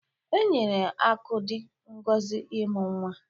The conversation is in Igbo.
E nyere Akudi ngozi imu nwa.